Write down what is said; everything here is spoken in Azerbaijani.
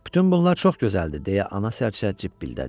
Bütün bunlar çox gözəldir, deyə ana sərcə cib bildadı.